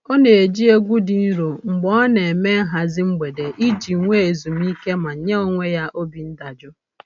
Ọ na-eji egwu dị nro mgbe ọ na-eme nhazị mgbede iji nwe ezumiike ma nye onwe ya obi ndajụ